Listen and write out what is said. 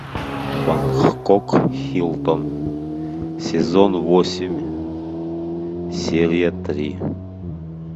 бангкок хилтон сезон восемь серия три